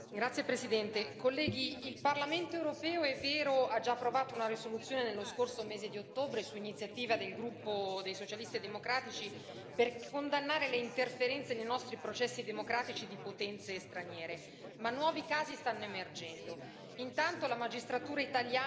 Signora Presidente, onorevoli colleghi, il Parlamento europeo, è vero, ha già approvato una risoluzione nello scorso mese di ottobre, su iniziativa del gruppo dei Socialisti e Democratici, per condannare le interferenze nei nostri processi democratici di potenze straniere, ma nuovi casi stanno emergendo.